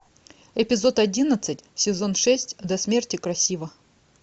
эпизод одиннадцать сезон шесть до смерти красива